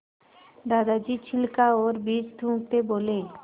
दादाजी छिलका और बीज थूकते बोले